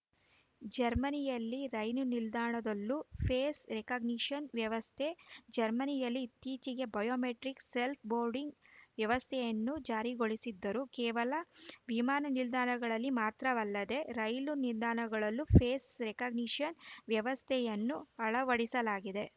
ಜರ್ಮನಿಯಲ್ಲಿ ರೈಲು ನಿಲ್ದಾಣದಲ್ಲೂ ಫೇಶ್‌ ರೆಕಗ್ನಿಷನ್‌ ವ್ಯವಸ್ಥೆ ಜರ್ಮನಿಯಲ್ಲಿ ಇತ್ತೀಚೆಗೆ ಬಯೋಮೆಟ್ರಿಕ್‌ ಸೆಲ್ಫ್ ಬೋರ್ಡಿಂಗ್‌ ವ್ಯವಸ್ಥೆಯನ್ನು ಜಾರಿಗೊಳಿಸಿದ್ದರೂ ಕೇವಲ ವಿಮಾನ ನಿಲ್ದಾಣಗಳಲ್ಲಿ ಮಾತ್ರವಲ್ಲದೆ ರೈಲು ನಿಲ್ದಾಣಗಳಲ್ಲೂ ಫೇಸ್‌ ರೆಕಗ್ನಿಷನ್‌ ವ್ಯವಸ್ಥೆಯನ್ನು ಅಳವಡಿಸಲಾಗಿದೆ